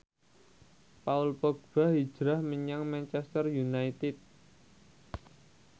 Paul Dogba hijrah menyang Manchester united